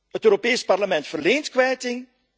Het Europees Parlement verleent kwijting.